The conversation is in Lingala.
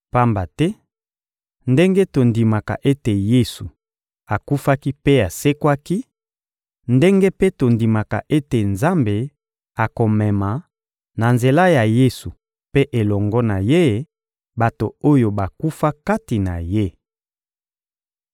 Pamba te ndenge tondimaka ete Yesu akufaki mpe asekwaki, ndenge mpe tondimaka ete Nzambe akomema, na nzela ya Yesu mpe elongo na Ye, bato oyo bakufa kati na Ye.